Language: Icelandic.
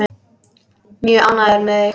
Mjög ánægður með mig.